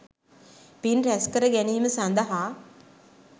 පින් රැස්කර ගැනීම සඳහා